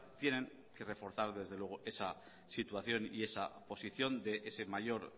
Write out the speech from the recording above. tienen que reforzar desde luego esa situación y esa posición de ese mayor